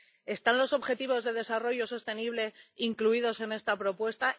¿Están los objetivos de desarrollo sostenible incluidos en esta propuesta?